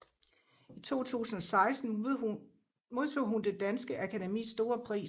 I 2016 modtog hun Det Danske Akademis Store Pris